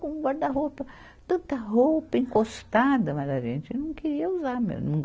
com guarda-roupa, tanta roupa encostada, mas a gente não queria usar mesmo.